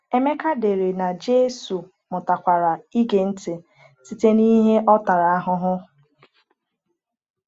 Emeka dere na Jésù “mụtakwara ịge ntị site n’ihe ọ tara ahụhụ."